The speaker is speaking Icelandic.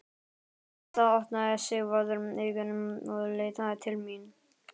Við það opnaði Sigvarður augun og leit til mín.